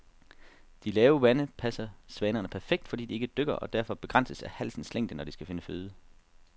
De lave vande passer svanerne perfekt, fordi de ikke dykker og derfor begrænses af halsens længde, når de skal finde føde.